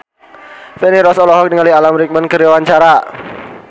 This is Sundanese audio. Feni Rose olohok ningali Alan Rickman keur diwawancara